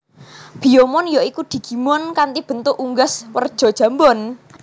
Biyomon ya iku digimon kanthi bentuk unggas werja jambon